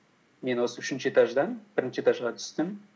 мен осы үшінші этаждан бірінші этажға түстім